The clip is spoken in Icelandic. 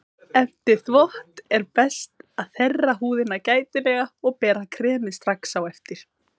Eftir þvott er best að þerra húðina gætilega og bera kremið strax á eftir.